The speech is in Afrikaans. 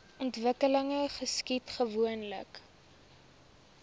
ontwikkeling geskied gewoonlik